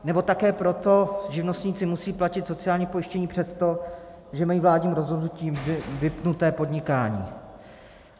Nebo také proto živnostníci musí platit sociální pojištění přesto, že mají vládním rozhodnutím vypnuté podnikání.